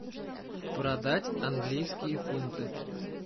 продать английские фунты